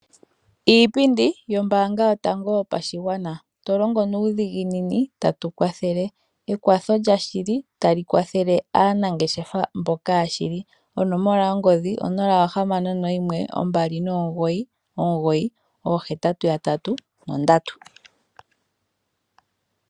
Iipindi yombaanga yotango yopashigwana. To longo nuudhiginini tatu kwathele. Ekwatho lya shili tali kwathele aanangeshefa mboka yashili. Onomola yongodhi 061 2998883.